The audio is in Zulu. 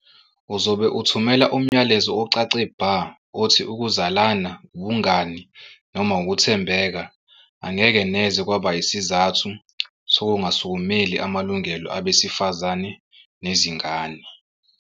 Uzobe uthumela umyalezo ocace bha othi ukuzalana, ubungani noma ukuthembeka angeke neze kwaba isizathu sokungasukumeli amalungelo abesifazane nezingane.